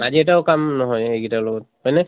আজি এটাও কাম নহয় সেই গিটাৰ লগত। হয় নে?